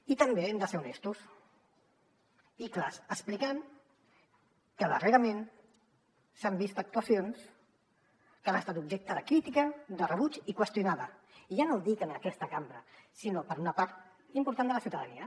i també hem de ser honestos i clars explicant que darrerament s’han vist actuacions que han estat objecte de crítica de rebuig i qüestionades i ja no dic en aquesta cambra sinó per una part important de la ciutadania